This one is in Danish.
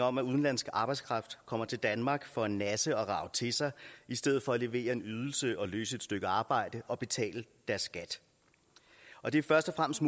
om at udenlandsk arbejdskraft kommer til danmark for at nasse og rage til sig i stedet for at levere en ydelse og løse et stykke arbejde og betale deres skat og det er først og fremmest